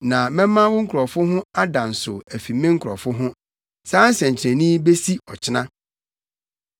Na mɛma wo nkurɔfo ho ada nsow afi me nkurɔfo ho. Saa nsɛnkyerɛnne yi besi ɔkyena.’ ”